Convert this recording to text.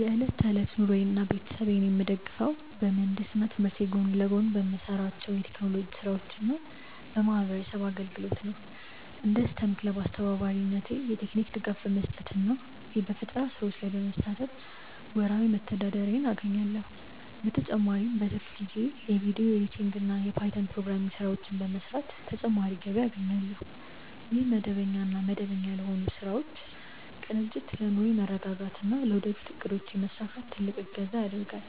የዕለት ተዕለት ኑሮዬንና ቤተሰቤን የምደግፈው በምህንድስና ትምህርቴ ጎን ለጎን በምሰራቸው የቴክኖሎጂ ስራዎችና በማህበረሰብ አገልግሎት ነው። እንደ ስቴም ክለብ አስተባባሪነቴ የቴክኒክ ድጋፍ በመስጠትና በፈጠራ ስራዎች ላይ በመሳተፍ ወርሃዊ መተዳደሪያዬን አገኛለሁ። በተጨማሪም በትርፍ ጊዜዬ የቪዲዮ ኤዲቲንግና የፓይተን ፕሮግራሚንግ ስራዎችን በመስራት ተጨማሪ ገቢ አገኛለሁ። ይህ መደበኛና መደበኛ ያልሆኑ ስራዎች ቅንጅት ለኑሮዬ መረጋጋትና ለወደፊት እቅዶቼ መሳካት ትልቅ እገዛ ያደርጋል።